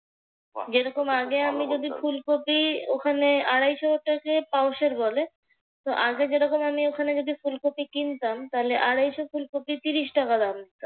যেরকম আগে যদি ফুলকপি ওখানে আড়াইশটাকে পাউশার বলে। তো আগে যেরকম যদি আমি ওখানে যদি আমি ফুলকপি আড়াইশ ফুলকপি ত্রিশ টাকা লাগতো।